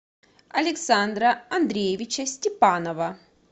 александра андреевича степанова